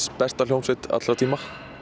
besta hljómsveit allra tíma